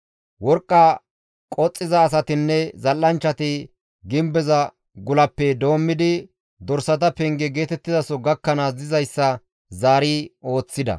Worqqa qoxxiza asatinne zal7anchchati gimbeza gulappe doommidi dorsata penge geetettizaso gakkanaas dizayssa zaari ooththida.